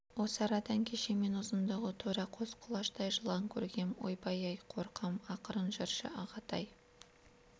осы арадан кеше мен ұзындығы тура қос құлаштай жылан көргем ойбай-ай қорқам ақырын жүрші ағатай